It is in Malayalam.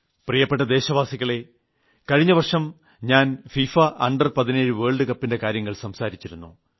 പ്രിയപ്പെട്ട ദേശവാസികളെ കഴിഞ്ഞവർഷം ഞാൻ ഫിഫ അണ്ടർ17 വേൾഡ് കപ്പിന്റെ കാര്യങ്ങൾ സംസാരിച്ചിരുന്നു